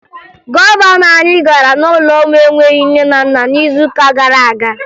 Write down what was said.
Gọvanọ anyị gara n'ụlọ ụmụ enweghi nne na nna n'izuụka gara aga